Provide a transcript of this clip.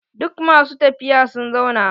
Duk masu tafiya sun zauna.